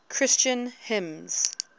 christian hymns